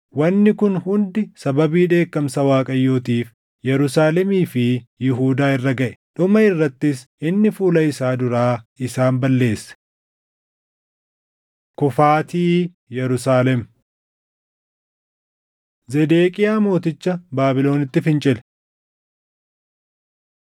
Wanni kun hundi sababii dheekkamsa Waaqayyootiif Yerusaalemii fi Yihuudaa irra gaʼe; dhuma irrattis inni fuula isaa duraa isaan balleesse. Kufaatii Yerusaalem 25:1‑12 kwf – Erm 39:1‑10 25:1‑21 kwf – 2Sn 36:17‑20; Erm 52:4‑27 25:22‑26 kwf – Erm 40:7‑9; 41:1‑3,16‑18 Zedeqiyaa mooticha Baabilonitti fincile.